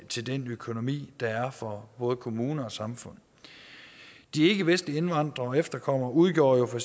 til den økonomi der er for både kommuner og samfund de ikkevestlige indvandrere og efterkommere udgjorde jo for